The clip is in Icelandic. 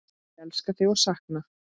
Ég elska þig og sakna.